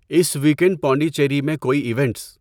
اس weekend Pondicherry میں کوئی events?